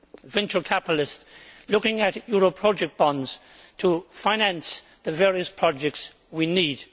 venture capitalists looking at euro project bonds to finance the various projects we need.